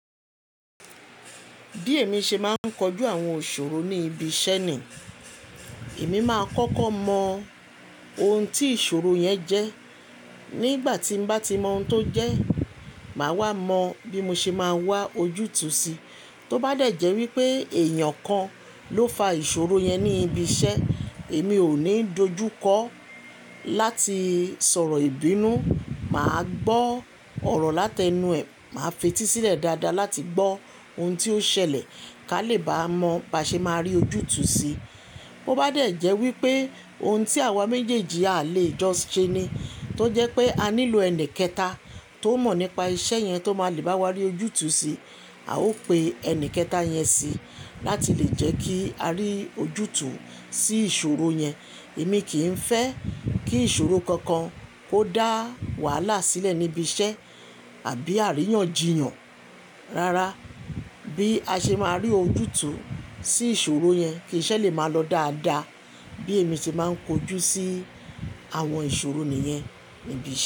Bí èmi ṣe máa ń kojú àwọn ìṣòro ní ibi iṣẹ́ ni, èmi máa kọ́kọ́ mọ ohun tí ìṣòro yẹn jẹ́. Nígbà tí mo bá ti mọ ohun tó jẹ́, màá wá mọ bí mo ṣe máa wá ojútùú sí. Tó bá dẹ̀jẹ́ wípé èèyàn kan ló fa ìṣòro yẹn ní ibi iṣẹ́, èmi ò ní dojú kọ láti sọ̀rọ̀ ìbínú. Màá gbọ́ ọ̀rọ̀ láti ẹnu ẹ̀, màá fetí sílẹ̀ dáadáa láti gbọ́ ohun tí ó ṣẹlẹ̀ kí a lè bá mọ bí a ṣe máa rí ojútùú sí. Bo bá dẹ̀jẹ́ wípé ohun tí àwa méjèèjì à le jọ ṣe ni, tó jẹ́ pé a nílò ẹni kẹta tó mọ̀ nípa iṣẹ́ yẹn tó máa le bá wa rí ojútùú sí, a ó pe ẹni kẹta yẹn sí láti lè jẹ́ kí a rí ojútùú sí ìṣòro yẹn. Èmi kì í fẹ́ kí ìṣòro kankan kó dá wàhálà sílẹ̀ níbi iṣẹ́ àbí àríyànjiyàn. Rárá, bí a ṣe máa rí ojútùú sí ìṣòro yẹn, kiṣẹ́ lè máa lọ dáadáa bí èmi ṣe máa ń kojú sí àwọn ìṣòro nìyẹn níbi iṣẹ́.